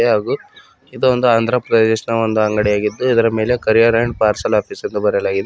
ಹಾಗೂ ಇದು ಒಂದು ಆಂಧ್ರ ಪ್ರದೇಶ ದ ಒಂದು ಅಂಗಡಿಯಾಗಿದ್ದು ಇದರ ಮೇಲೆ ಕೊರಿಯರ್ ಅಂಡ್ ಪಾರ್ಸಲ್ ಆಫೀಸ್ ಅಂತ ಬರೆಯಲಾಗಿದೆ.